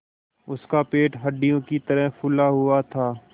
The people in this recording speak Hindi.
उसका पेट हंडिया की तरह फूला हुआ था